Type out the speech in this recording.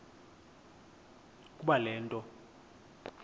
ukuba le nto